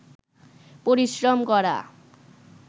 পরিশ্রম করা